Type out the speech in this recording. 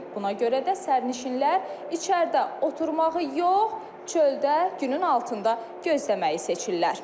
Buna görə də sərnişinlər içəridə oturmağı yox, çöldə günün altında gözləməyi seçirlər.